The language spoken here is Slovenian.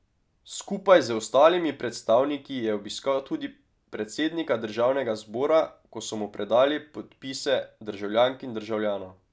Skupaj z ostalimi predstavniki je obiskal tudi predsednika Državnega zbora, ko so mu predali podpise državljank in državljanov.